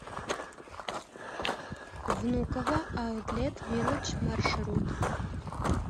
внуково аутлет виллэдж маршрут